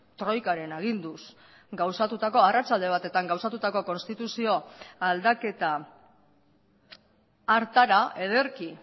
troikaren aginduz gauzatutako arratsalde batetan gauzatutako konstituzio aldaketa hartara ederki